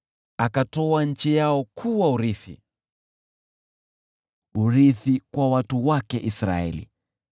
akatoa nchi yao kuwa urithi, urithi kwa watu wake Israeli.